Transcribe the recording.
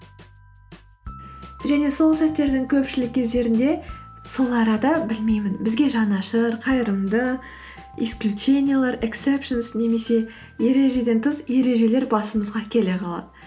және сол сәттердің көпшілік кездерінде сол арада білмеймін бізге жанашыр қайырымды исключениялар ексепшенс немесе ережеден тыс ережелер басымызға келе қалады